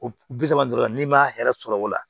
O bi saba dɔrɔn n'i ma hɛrɛ sɔrɔ o la